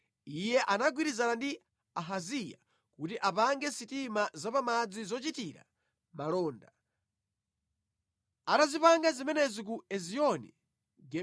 Iye anagwirizana ndi Ahaziya kuti apange sitima zapamadzi zochitira malonda. Atazipanga zimenezi ku Ezioni-Geberi,